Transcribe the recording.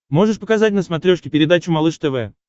можешь показать на смотрешке передачу малыш тв